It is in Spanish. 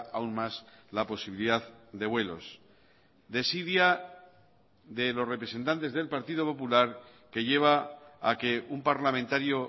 aún más la posibilidad de vuelos desidia de los representantes del partido popular que lleva a que un parlamentario